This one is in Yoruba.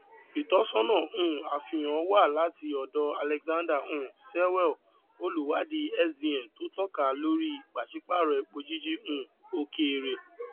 ìtọsọnà um àfihàn wá láti ọdọ alexander um sewell olùwádìí sdn tó tọka lórí pàṣípàrọ epo jíjí um òkèèrè